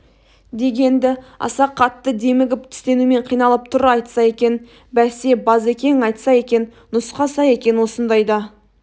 деген-ді аса қатты демігіп тістенумен қиналып тұр айтса екен бәсе базекең айтса екен нұсқаса екен осындайда